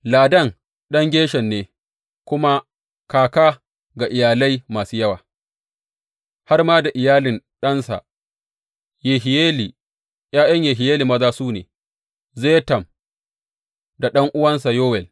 Ladan ɗan Gershon ne, kuma kaka ga iyalai masu yawa, har ma da iyalin ɗansa Yehiyeli, ’ya’yan Yehiyeli maza su ne, Zetam da ɗan’uwansa Yowel.